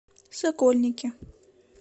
сокольники